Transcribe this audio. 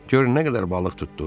"Gör nə qədər balıq tutduq."